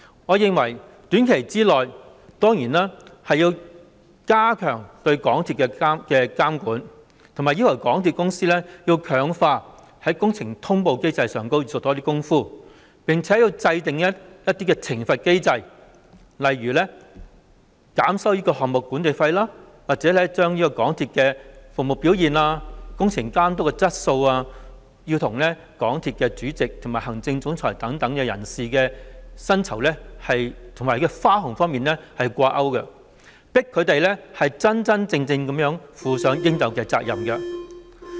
我認為短期內當然要加強對港鐵公司的監管，以及要求港鐵公司強化工程通報機制，並且制訂懲罰機制，例如減收項目管理費，或者把港鐵公司的服務表現和工程監督的質素與港鐵公司主席及行政總裁等人士的薪酬和花紅掛鈎，迫使他們真真正正地負責任。